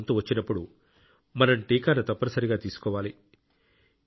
మన వంతు వచ్చినప్పుడు మనం టీకాను తప్పనిసరిగా తీసుకోవాలి